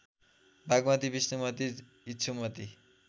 Bagmati Bishnumati Ikshumati